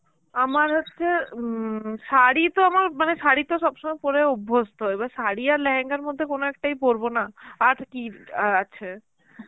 আমার হচ্ছে উম শাড়ি তো আমার মানে শাড়ি তো সবসময় পড়ে অভ্যস্ত, এবার শাড়ি আর লেহেঙ্গার মধ্যে কোন একটাই পরব, না? আর কি আছে?